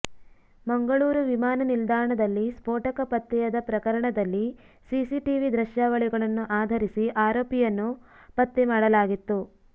ಮಂಗಳೂರು ವಿಮಾನ ನಿಲ್ದಾಣದಲ್ಲಿ ಸ್ಫೋಟಕ ಪತ್ತೆಯಾದ ಪ್ರಕರಣದಲ್ಲಿ ಸಿಸಿಟಿವಿ ದೃಶ್ಯಾವಳಿಗಳನ್ನು ಆಧರಿಸಿ ಆರೋಪಿಯನ್ನು ಪತ್ತೆ ಮಾಡಲಾಗಿತ್ತು